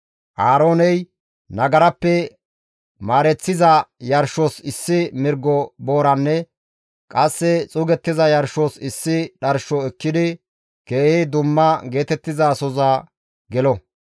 «Aarooney nagarappe maareththiza yarshos issi mirgo booranne qasse xuugettiza yarshos issi dharsho ekkidi keehi dumma geetettizasoza gelo.